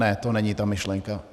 Ne, to není ta myšlenka.